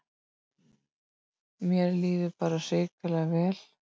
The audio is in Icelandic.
Mér líður bara hrikalega vel